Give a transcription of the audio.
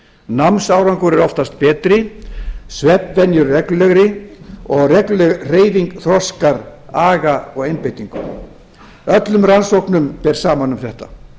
námsárangur er oftast betri svefnvenjur reglulegri og regluleg hreyfing þroskar aga og einbeitingu öllum rannsóknum ber saman um þetta